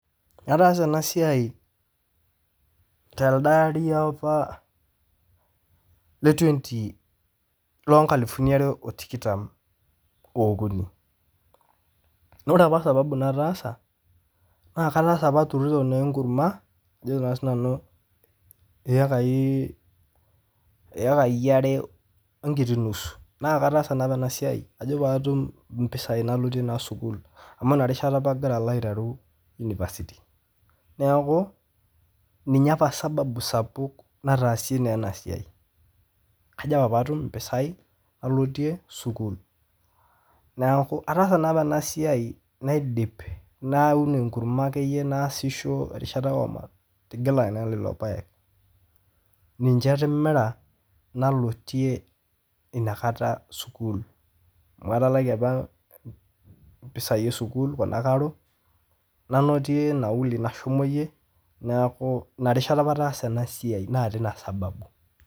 Ataasa ena siaai telde lari apa loo nkaalufuni are o tikitam oo okuni, naa ore apa sababu nataasa naa kataasa apa aturuto inkurumwa ajo sii nanu ekaii are oo nkiti nusu naa kataasa naa ena siaai ajo paatum mpisaii nalotie naii sukuul amu ina rishata apa agira alo aitaruu unipasiti, naaku ninye apa sababu sapuk nataasie naa ena siaai, kajo apa paatum impisaii nalotiie sukuul, naaku ataasa naapa ana siaai naidip naun enkurrumwa ake iye naasisho orishata matigila naa lelo paek, ninche atimira nalotie inakata sukuul, amu etalaki apaa inakata mpisai osukuul kuna ekaro, nanoto nauli nashomoiye, naaku inarishata apa ataasa ena siaai naa teinia sababu.